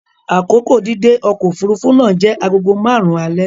Akoko dídé ọkọ̀ òfuurufú náà jẹ́ agogo márùn-ún alẹ́.